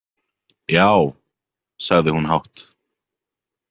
Já, sagði hún hátt.